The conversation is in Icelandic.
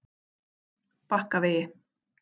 Bakkavegi